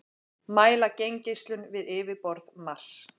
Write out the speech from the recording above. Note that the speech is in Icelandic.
mæla geimgeislun við yfirborð mars